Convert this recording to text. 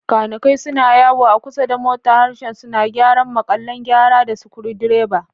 Kanikai suna yawo a kusa da mota, harshensu na gyaran maƙallan gyara da screwdrivers.